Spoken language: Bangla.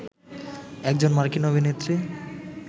একজন মার্কিন অভিনেত্রী